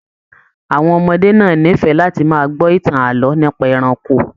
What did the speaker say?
Àwọn ọmọdé náà n'ifẹ láti máa gbọ ìtàn ààlọ́ nípa ẹranko.